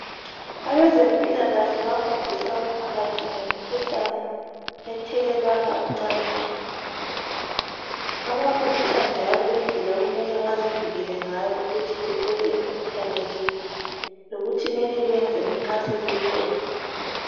Abezempilakahle bayafundisa umphakathi ngemikhuhlane ethelelwana ocansini babafundisa njalo indlela okumele bezivikele ngayo ukuthi bethole imikhuhlane le lokuthi kumele benzeni nxa sebeyitholile.